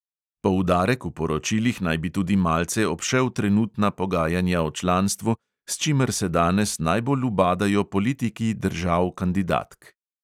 Poudarek v poročilih naj bi tudi malce obšel trenutna pogajanja o članstvu, s čimer se danes najbolj ubadajo politiki držav kandidatk.